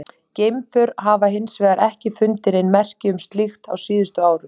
Geimför hafa hins vegar ekki fundið nein merki um slíkt á síðustu árum.